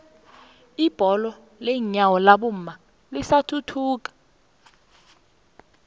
ibholo lenyawo labomma lisathuthuka